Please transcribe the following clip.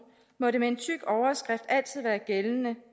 må det med en tyk overskrift altid været gældende